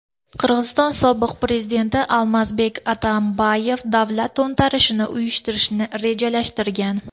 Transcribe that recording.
Qirg‘iziston sobiq prezidenti Almazbek Atambayev davlat to‘ntarishini uyushtirishni rejalashtirgan.